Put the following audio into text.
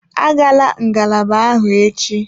Agala ngalaba ahụ echi!